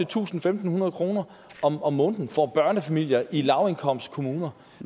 tusind fem hundrede kroner om om måneden for børnefamilier i lavindkomstkommuner